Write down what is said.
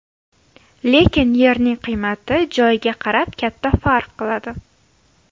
Lekin yerning qiymati joyiga qarab katta farq qiladi.